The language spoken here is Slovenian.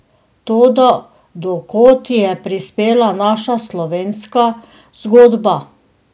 Toda do kod je prispela naša slovenska zgodba?